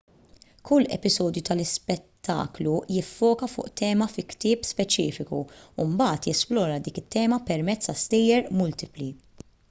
kull episodju tal-ispettaklu jiffoka fuq tema fi ktieb speċifiku u mbagħad jesplora dik it-tema permezz ta' stejjer multipli